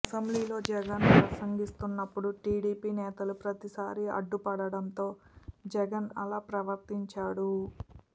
అసెంబ్లీలో జగన్ ప్రసంగిస్తున్నప్పుడు టీడీపీ నేతలు ప్రతీసారి అడ్డుపడడంతో జగన్ ఆలా ప్రవర్తించాడు